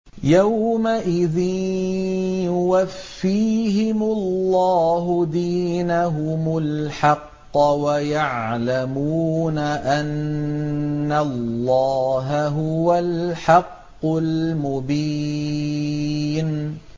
يَوْمَئِذٍ يُوَفِّيهِمُ اللَّهُ دِينَهُمُ الْحَقَّ وَيَعْلَمُونَ أَنَّ اللَّهَ هُوَ الْحَقُّ الْمُبِينُ